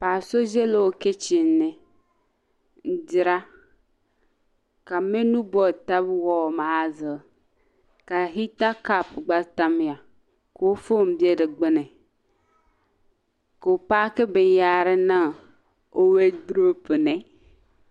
paɣiba so ʒila o kichin ni n-dira ka mɛnu boodi taba wɔdi maa zuɣu ka hita kopu gba tamya ka o foon be di gbuni ka o paaki binyɛhari niŋ o weiduroopu ni